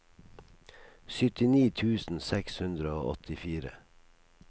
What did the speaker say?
syttini tusen seks hundre og åttifire